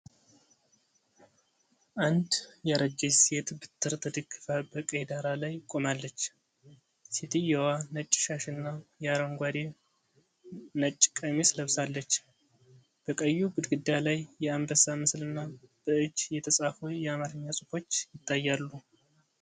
አንድ ያረጀች ሴት በትር ተደግፋ በቀይ ዳራ ላይ ቆማለች፤ ሴትዮዋ ነጭ ሻሽና የአረንጓዴ/ነጭ ቀሚስ ለብሳለች። በቀዩ ግድግዳ ላይ የአንበሳ ምስልና በእጅ የተጻፉ የአማርኛ ጽሑፎች ይታያሉ።